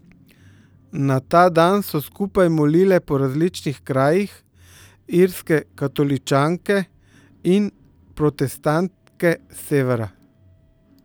Na ta dan so skupaj molile po različnih krajih Irske katoličanke in protestantke s severa.